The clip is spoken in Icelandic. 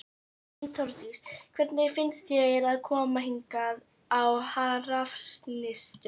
Hrund Þórsdóttir: Hvernig finnst þér að koma hingað á Hrafnistu?